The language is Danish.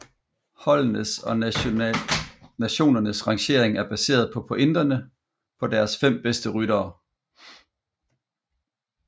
Holdenes og nationernes rangering er baseret på pointene på deres fem bedste ryttere